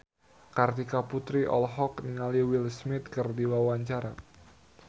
Kartika Putri olohok ningali Will Smith keur diwawancara